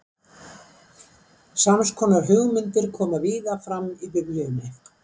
Sams konar hugmyndir koma víða fram í Biblíunni.